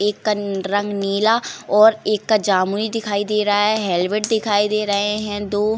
एक का रंग नीला और एक का जामुनी दिखाई दे रहा है हेलमेट दिखाई दे रहे हैं दो।